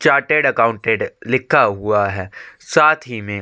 chartered accountant लिखा हुआ है साथ ही में--